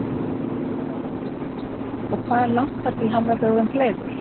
Lára Ómarsdóttir: Og hvað er langt þar til hann verður orðinn fleygur?